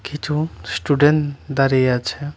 কিছু স্টুডেন্ট দাঁড়িয়ে আছে।